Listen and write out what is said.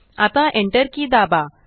आता Enter की दाबा